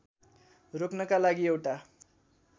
रोक्नका लागि एउटा